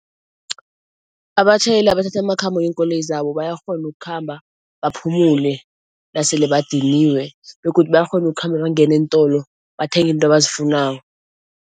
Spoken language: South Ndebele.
Abatjhayeli abathatha amakhambo ngeenkoloyi zabo bayakghona ukukhamba baphumule nasele badiniwe begodu bayakghona ukukhamba bangene eentolo bathenge into abazifunako.